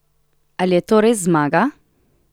Ali je to res zmaga?